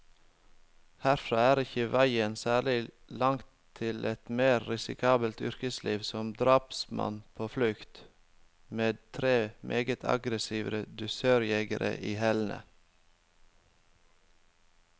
Herfra er ikke veien særlig lang til et mer risikabelt yrkesliv, som drapsmann på flukt, med tre meget aggressive dusørjegere i hælene.